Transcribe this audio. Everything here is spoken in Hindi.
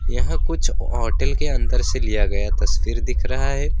यह कुछ होटल के अंदर से लिया गया तस्वीर दिख रहा है।